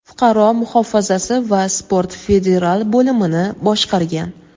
fuqaro muhofazasi va sport federal bo‘limini boshqargan.